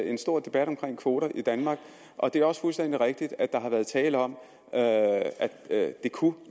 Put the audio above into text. en stor debat om kvoter i danmark og det er også fuldstændig rigtigt at der har været tale om at det kunne